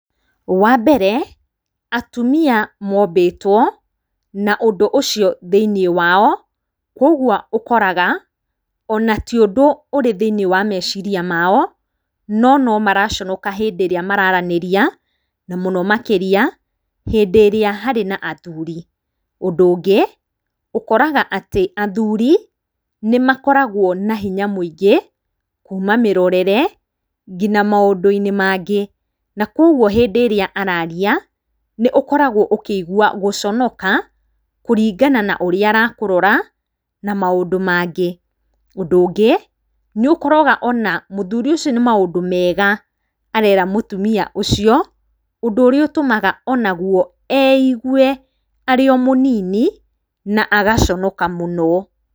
Wa mbere, atumia mombĩtwo na ũndũ ũcio thĩiniĩ wao, koguo ũkoraga, ona ti ũndũ ũrĩ thĩiniĩ wa meciria mao, no nomaraconoka hĩndĩ ĩrĩa mararanĩria, na mũno makĩria hĩndĩ ĩrĩa harĩ na athuri. Ũndũ ũngĩ, ũkoraga atĩ athuri, nĩmakoragwo na hinya mũingĩ, kuma mĩrorere, nginya maũndũ-inĩ mangĩ, na koguo hĩndĩ ĩrĩa araria, nĩũkoragwo ũkĩigua gũconoka, kũringana na ũrĩa arakũrora, na maũndũ mangĩ. Ũndũ ũngĩ, nĩũkoraga ona mũthuri ũcio nĩ maũndũ mega arera mũtumia ũcio, ũndũ ũrĩa ũtũmaga onaguo eigue arĩ omũnini, na agaconoka mũno.